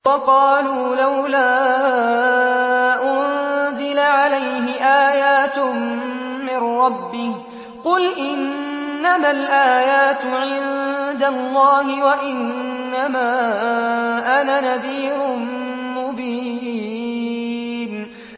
وَقَالُوا لَوْلَا أُنزِلَ عَلَيْهِ آيَاتٌ مِّن رَّبِّهِ ۖ قُلْ إِنَّمَا الْآيَاتُ عِندَ اللَّهِ وَإِنَّمَا أَنَا نَذِيرٌ مُّبِينٌ